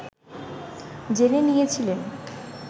জেনে নিয়েছিলেন